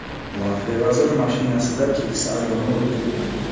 Latviya vaziri mashinasida keksa ayolni urib ketdi.